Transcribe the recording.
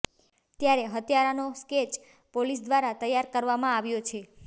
ત્યારે હત્યારાનો sketch police દ્રારા તૈયાર કરવામાં આવ્યો છે